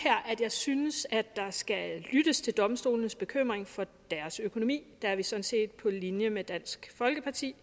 at jeg synes at der skal lyttes til domstolenes bekymring for deres økonomi der er vi sådan set på linje med dansk folkeparti